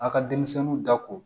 A ka denmisɛnninw da ko